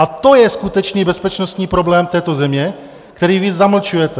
A to je skutečný bezpečnostní problém této země, který vy zamlčujete.